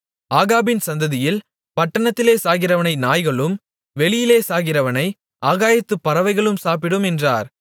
ஆகாபின் சந்ததியில் பட்டணத்திலே சாகிறவனை நாய்களும் வெளியிலே சாகிறவனை ஆகாயத்துப் பறவைகளும் சாப்பிடும் என்றார்